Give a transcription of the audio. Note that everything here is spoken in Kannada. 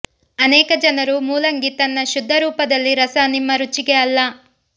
ಅನೇಕ ಜನರು ಮೂಲಂಗಿ ತನ್ನ ಶುದ್ಧ ರೂಪದಲ್ಲಿ ರಸ ನಿಮ್ಮ ರುಚಿಗೆ ಅಲ್ಲ